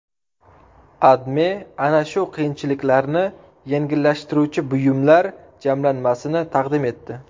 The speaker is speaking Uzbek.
AdMe ana shu qiyinchiliklarni yengillashtiruvchi buyumlar jamlanmasini taqdim etdi .